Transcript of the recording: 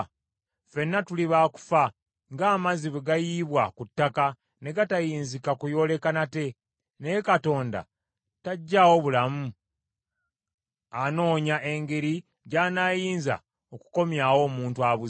Ffenna tuli baakufa, ng’amazzi bwe gayiibwa ku ttaka, ne gatayinzika kuyooleka nate. Naye Katonda taggyawo bulamu, anoonya engeri gy’anaayinza okukomyawo omuntu abuze.